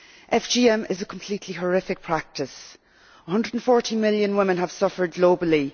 FGM is a completely horrific practice and 140 million women have suffered globally.